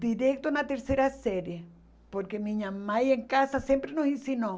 Direto na terceira série, porque minha mãe em casa sempre nos ensinou.